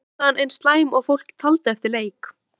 Var frammistaðan eins slæm og fólk taldi eftir leik?